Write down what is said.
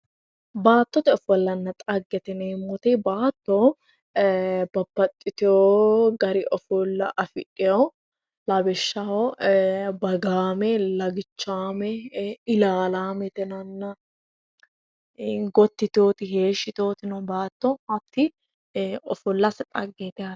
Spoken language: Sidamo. baattote ofollanna dhagete yineemmoti baatto eee babbaxiteewo gari ofolla afidhewo lawishshaho eee baagaame lagichaame eee ilaalaame gotti yiteewoti heeshshi yiteewoti no baatto hatti ofollase dhageeti yaate